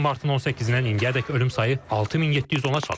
Bu ilin martın 18-dən indiyədək ölüm sayı 6710-a çatıb.